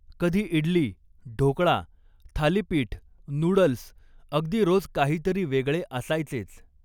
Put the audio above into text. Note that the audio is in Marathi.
कधी इडली, ढोकळा, थालिपीठ, नूडल्स अगदी रोज काहीतरी वेगळे असायचेच.